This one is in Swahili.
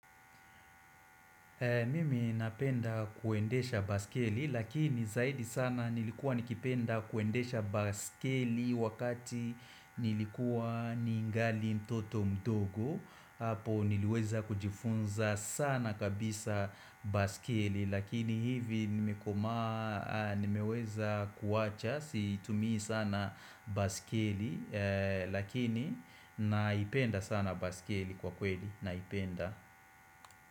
Mimi napenda kuendesha baskeli lakini zaidi sana nilikuwa nikipenda kuendesha baskeli wakati nilikuwa ningali mtoto mdogo hapo niliweza kujifunza sana kabisa baskeli lakini hivi nimeweza kuwacha situmii sana baskeli lakini naipenda sana baskeli kwa kweli naipenda.